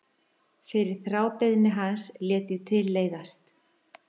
Fyrir þrábeiðni hans lét ég til leiðast.